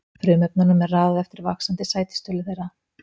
Frumefnunum er raðað eftir vaxandi sætistölu þeirra.